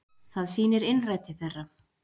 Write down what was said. Það sýnir innræti þeirra